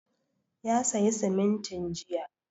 Ya sayi simintin jiya